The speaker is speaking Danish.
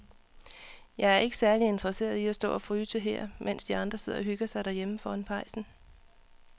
Jeg er ikke særlig interesseret i at stå og fryse her, mens de andre sidder og hygger sig derhjemme foran pejsen.